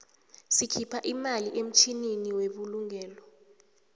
sikhipha imali emtjhlinini webulugelo